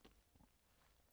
DR2